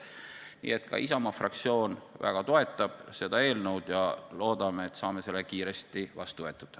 Nii et ka Isamaa fraktsioon väga toetab seda eelnõu ja loodame, et saame selle kiiresti vastu võetud.